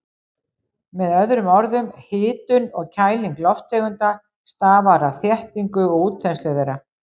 Með öðrum orðum, hitun og kæling lofttegunda stafar af þéttingu og útþenslu þeirra.